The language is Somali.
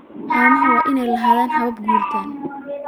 Haamaha waa inay lahaadaan habab guuritaan